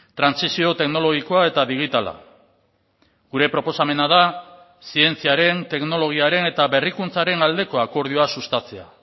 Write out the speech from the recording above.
trantsizio teknologikoa eta digitala gure proposamena da zientziaren teknologiaren eta berrikuntzaren aldeko akordioa sustatzea